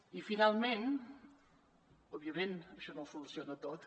i finalment òbviament això no ho soluciona tot